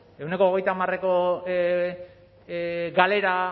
ehuneko hogeita hamareko galera